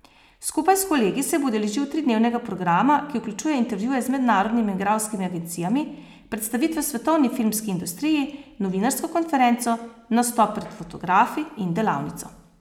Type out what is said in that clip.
Skupaj s kolegi se bo udeležil tridnevnega programa, ki vključuje intervjuje z mednarodnimi igralskimi agencijami, predstavitve v svetovni filmski industriji, novinarsko konferenco, nastop pred fotografi in delavnico.